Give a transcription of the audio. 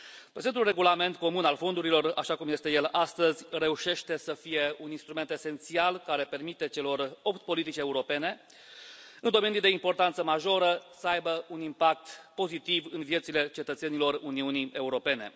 Prezentul regulament comun al fondurilor, așa cum este el astăzi, reușește să fie un instrument esențial care permite celor opt politici europene în domenii de importanță majoră să aibă un impact pozitiv în viețile cetățenilor Uniunii Europene.